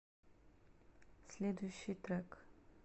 следующий трек